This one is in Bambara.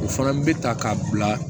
O fana bɛ ta k'a bila